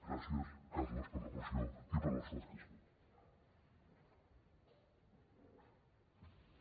gràcies carles per la moció i per l’esforç que has fet